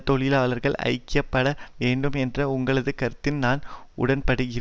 தொழிலாளர்கள் ஐக்கிய பட வேண்டும் என்ற உங்களது கருத்துடன் நான் உடன்படுகிறேன்